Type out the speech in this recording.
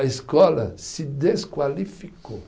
A escola se desqualificou.